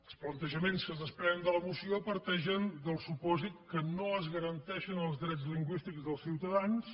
els plantejaments que es desprenen de la moció parteixen del supòsit que no es garanteixen els drets lingüístics dels ciutadans